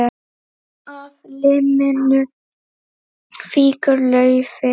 Af liminu fýkur laufið.